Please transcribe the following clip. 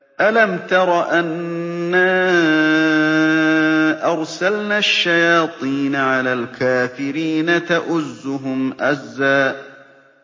أَلَمْ تَرَ أَنَّا أَرْسَلْنَا الشَّيَاطِينَ عَلَى الْكَافِرِينَ تَؤُزُّهُمْ أَزًّا